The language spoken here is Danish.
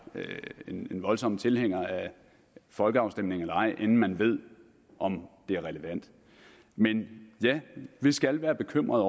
en voldsom tilhænger af folkeafstemninger inden man ved om det er relevant men vi skal være bekymret